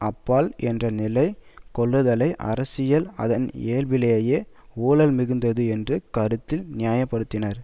அப்பால் என்ற நிலை கொள்ளுதலை அரசியல் அதன் இயல்பிலேயே ஊழல்மிகுந்தது என்று கருத்தில் நியாயப்படுத்தினர்